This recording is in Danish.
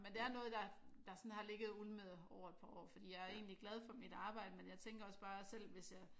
Men det er noget der der sådan har ligget og ulmet over et par år for jeg er egentlig glad for mit arbejde men jeg tænker også bare selv hvis jeg